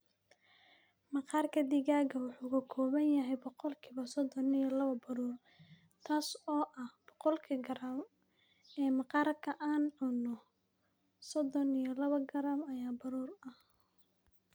"Maqaarka digaaga wuxuu ka kooban yahay boqolkiiba soddon iyo laba baruur, taas oo ah, boqolkii garaam ee maqaarka aan cunno, soddon iyo laba garaam ayaa baruur ah."